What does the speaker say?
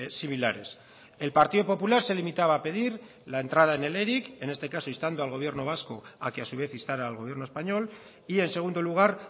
similares el partido popular se limitaba a pedir la entrada en el eric en este caso instando al gobierno vasco a que a su vez instara al gobierno español y en segundo lugar